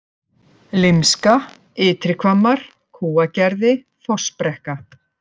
Lymska, Ytri-Hvammar, Kúagerði, Fossbrekka